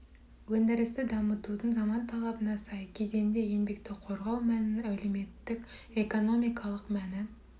өндірісті дамытудың заман талабына сай кезеңінде еңбекті қорғау мәнінің әлеуметтік экономикалық мәні